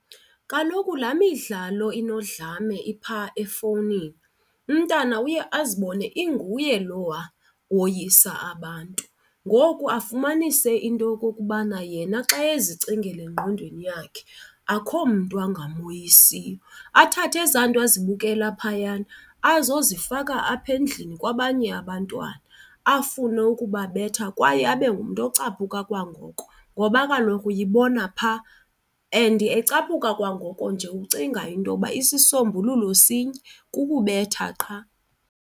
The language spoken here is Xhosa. Kaloku laa midlalo inodlame iphaa efowunini umntana uye azibone inguye lowa woyisa abantu. Ngoku afumanise into yokokubana yena xa ezicingela engqondweni yakhe akho mntu angamoyisiyo. Athathe eza nto azibukela phayana azozifaka apha endlini kwabanye abantwana, afune ukubabetha kwaye abe umntu ocaphuka kwangoko ngoba kaloku uyibona phaa. And ecaphuka kwangoko nje ucinga into yoba isisombululo sinye, kukubetha qha.